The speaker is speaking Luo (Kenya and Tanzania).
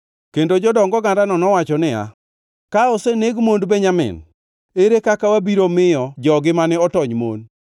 Kendo jodong ogandano nowacho niya, “Ka oseneg mond Benjamin, ere kaka wabiro miyo jogi mane otony mon?”